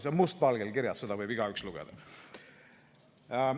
See on must valgel kirjas, seda võib igaüks lugeda.